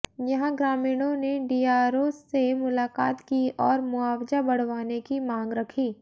यहां ग्रामीणों ने डीआरओ से मुलाकात की और मुआवजा बढ़वाने की मांग रखी